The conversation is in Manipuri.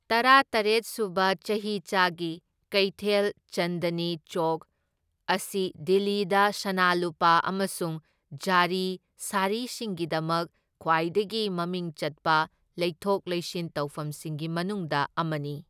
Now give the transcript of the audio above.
ꯇꯔꯥꯇꯔꯦꯠ ꯁꯨꯕ ꯆꯍꯤꯆꯥꯒꯤ ꯀꯩꯊꯦꯜ ꯆꯟꯗꯅꯤ ꯆꯧꯛ ꯑꯁꯤ ꯗꯤꯜꯂꯤꯗ ꯁꯅꯥ ꯂꯨꯄꯥ ꯑꯃꯁꯨꯡ ꯖꯔꯤ ꯁꯥꯔꯤꯁꯤꯡꯒꯤꯗꯃꯛ ꯈ꯭ꯋꯥꯏꯗꯒꯤ ꯃꯃꯤꯡ ꯆꯠꯄ ꯂꯩꯊꯣꯛ ꯂꯩꯁꯤꯟ ꯇꯧꯐꯝꯁꯤꯡꯒꯤ ꯃꯅꯨꯡꯗ ꯑꯃꯅꯤ꯫